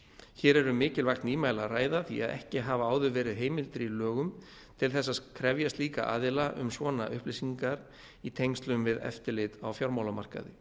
hér er um mikilvægt nýmæli að ræða því að ekki hafa áður verið heimildir í lögum til þess að krefja slíka aðila um svona upplýsingar í tengslum við eftirlit á fjármálamarkaði